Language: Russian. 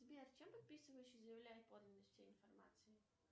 сбер чем подписывающий заявляет подлинность информации